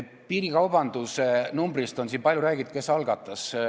Piirikaubandusest on siin palju räägitud: kes algatas?